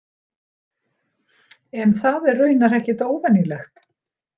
En það er raunar ekkert óvenjulegt.